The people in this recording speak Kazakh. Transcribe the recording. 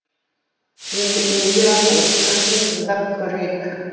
енді индираның сөзін тыңдап көрейік